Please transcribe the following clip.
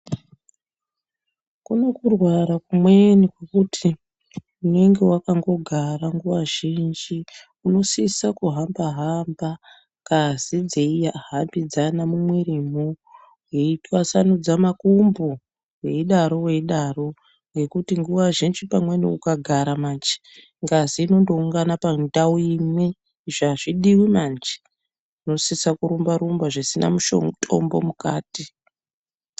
Kuno kurwara kumweni kwekuti unenge wakangogara nguva zhinji, unosisa kuhamba hamba ngazi dzeihambidzana mumwirimwo, weitwasanudze makumbo, weidaro weidaro ngekuti nguwa zhinji pamweni ukagara manje, ngazi inondoungana pandau imwe izvi azvidiwi manje unosisa kurumba -rumba zvisina mutombo mukati.